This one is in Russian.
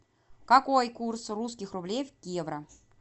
какой курс русских рублей в евро